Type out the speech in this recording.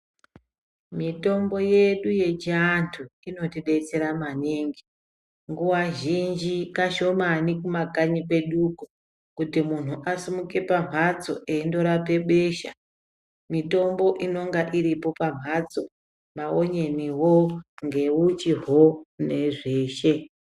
Mitombo yedu yechivantu inotibatsira maningi nguva zhinji kaahomane kumakanyi kwedu uko kuti muntu asimuke pabhatso achinorapa besha mitombo inonga iripo pabhatso maonyeniwo ngeuchiwo ngezvese.